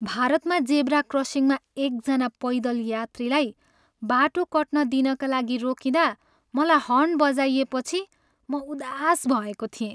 भारतमा जेब्रा क्रसिङमा एकजना पैदल यात्रीलाई बाटो कट्न दिनका लागि रोकिँदा मलाई हर्न बजाइएपछि म उदास भएको थिएँ।